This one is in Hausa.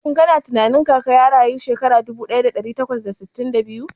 Shin kana tunanin Kaka ya rayu shekara dubu daya da dari takwas da sittin da biyu?